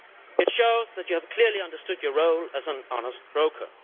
It shows that you have clearly understood your role as an honest broker.